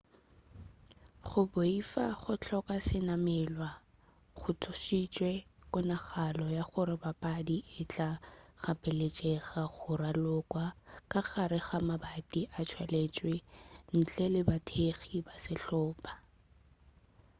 go boifa go hloka senamelwa go tsošitše kgonagalo ya gore papadi e tla gapeletšega go ralokwa ka gare ga mabati a tswaletšwe ntle le bathekgi ba sehlopa